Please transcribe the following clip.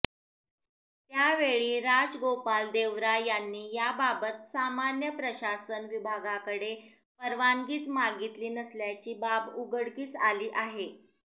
त्यावेळी राजगोपाल देवरा यांनी याबाबत सामान्य प्रशासन विभागाकडे परवानगीच मागितली नसल्याची बाब उघडकीस आली आहे